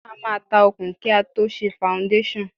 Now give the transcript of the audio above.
A máa ta òkun kí a tó ṣe faundéṣàn.